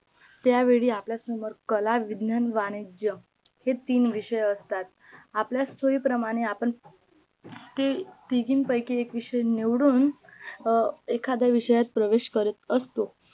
त्यावेळी आपल्या समोर कला विज्ञान वाणिज्य हे तीन विषय असतात, आपल्या सोई प्रमाणे आपण ते तिघांपैकी एक विषय निवडून एखाद्या विषयात प्रवेश करत असतो